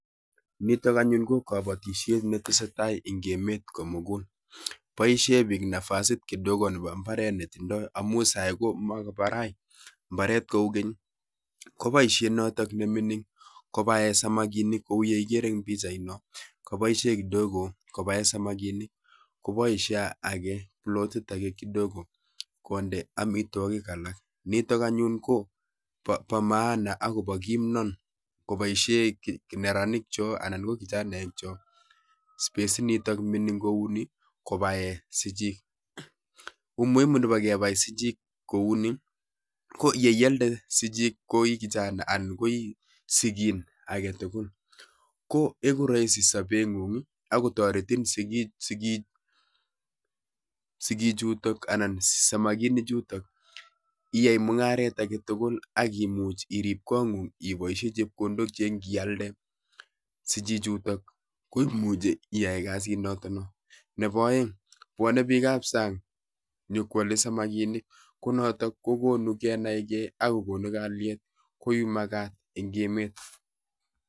Nitok anyun ko kobotishiet netesetai en emet komugul, boishien biik k nafasiit kidogo nembo mbaret netindoo, amun sai komakobaraa mbaret koukeny. Koboishie noton nemingin kobaen samakinik kouyekikere en pichaini nitok, koboiishien kidogo kobaen samakinik koboishie age, pilotit age kidogo konde amitwogik alak nitok anyu kobo maana akobo kimnot koboishien neranikchok tuguk chotet chu, spesit notot nemingin kouni kobaen sichik. kororonindab kebai sichik kouni ko ye ialdee sichik chechan ko I sichik agetugul koroisi sobengung ak kotoretiin sigiichuton anan samakinichutot, iyae mungaret ak ibooshien chepkondok che indialdee sichiichutok koimuch iyaai kasit, nebo oeng kobwone bika b sang konyokwole samakinik, konotok kokonuu kenai gee ak kokonuu kalyeet nemakat en emet